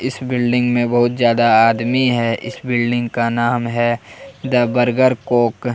इस बिल्डिंग में बहुत ज्यादा आदमी है इस बिल्डिंग का नाम है द बर्गर कॉक ।